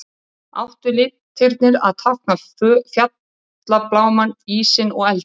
Áttu litirnir að tákna fjallablámann, ísinn og eldinn.